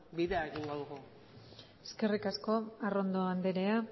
bueno bidea egingo dugu eskerrik asko arrondo andrea